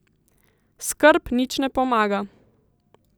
Skrb nič ne pomaga.